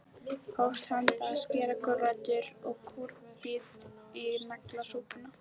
Hófst handa við að skera gulrætur og kúrbít í naglasúpuna.